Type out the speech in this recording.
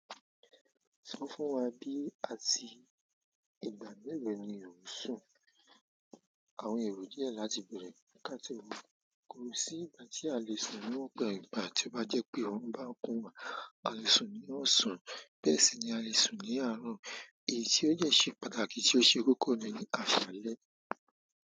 Sọ fún wa bí àti ìgbà melo ni ò ń sùn. Àwọn èrò díẹ̀ láti bẹ̀rẹ̀. Kíka sí òun. Kò sí ìgbà tí a lè sùn níwọ̀nba ìgbà tí ó bá jẹ́ pé òrun bá ń kun wá. A lè sùn ní ọsan, bẹ́ẹ̀ sì ni a lè sùn ní àárọ̀. Èyí tí ó dẹ́ ṣe pàtàkì tí ó ṣe kókó ni ní àṣálẹ́.